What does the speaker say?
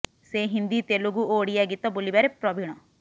ସେ ହିନ୍ଦୀ ତେଲୁଗୁ ଓ ଓଡ଼ିଆ ଗୀତ ବୋଲିବାରେ ପ୍ରବିଣ